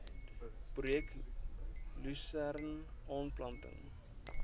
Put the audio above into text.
projek lusern aanplanting